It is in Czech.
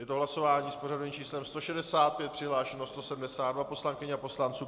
Je to hlasování s pořadovým číslem 165, přihlášeno 172 poslankyň a poslanců.